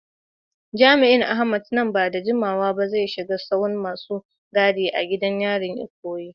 Jami’in Ahmed, nan ba da jimawa ba zai shiga sahun masu gadi a gidan yarin Ikoyi.